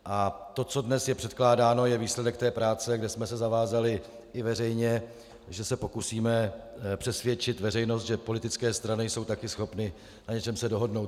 A to, co je dnes předkládáno, je výsledek té práce, kde jsme se zavázali i veřejně, že se pokusíme přesvědčit veřejnost, že politické strany jsou taky schopny na něčem se dohodnout.